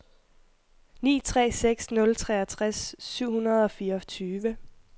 ni tre seks nul treogtres syv hundrede og fireogtyve